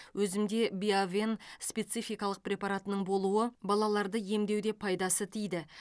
өзімде биовен спецификалық препаратының болуы балаларды емдеуде пайдасы тиді